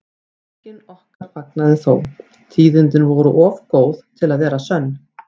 Enginn okkar fagnaði þó, tíðindin voru of góð til að vera sönn.